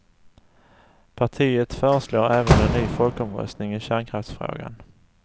Partiet föreslår även en ny folkomröstning i kärnkraftsfrågan.